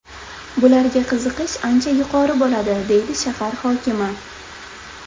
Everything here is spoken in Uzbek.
Bularga qiziqish ancha yuqori bo‘ladi”, dedi shahar hokimi.